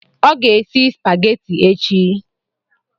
Ọ ga-esi spageti echi.